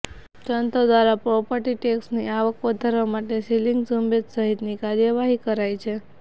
તંત્ર દ્વારા પ્રોપર્ટી ટેક્સની આવક વધારવા માટે સીલિંગ ઝુંબેશ સહિતની કાર્યવાહી કરાય છે